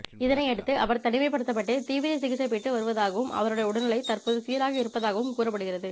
இதனையடுத்து அவர் தனிமைப்படுத்தப்பட்டு தீவிர சிகிச்சை பெற்று வருவதாகவும் அவருடைய உடல்நிலை தற்போது சீராக இருப்பதாகவும் கூறப்படுகிறது